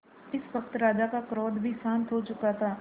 इस वक्त राजा का क्रोध भी शांत हो चुका था